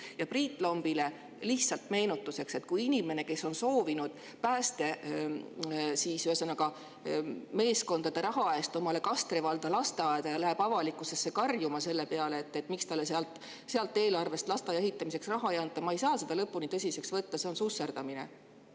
Aga Priit Lombile ütlen lihtsalt meenutuseks, et inimest, kes on soovinud päästemeeskondade raha anda Kastre valla lasteaia jaoks ja kes läheb avalikkuse ette karjuma, miks talle sealt eelarvest lasteaia ehitamiseks raha ei anta, ei saa ma lõpuni tõsiselt võtta, sest see on susserdamine.